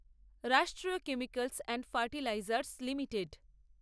রাষ্ট্রীয় chemicals and fertilisers limited